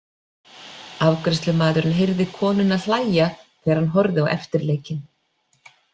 Afgreiðslumaðurinn heyrði konuna hlæja þegar hann horfði á eftirleikinn.